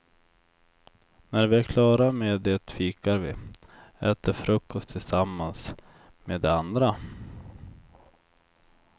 När vi är klara med det fikar vi, äter frukost tillsammans med de andra.